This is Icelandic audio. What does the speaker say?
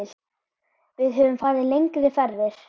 Við höfum farið lengri ferðir.